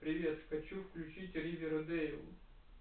привет хочу включить ривердэйл